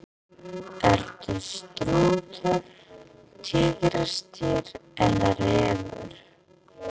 Ertu strútur, tígrisdýr eða refur?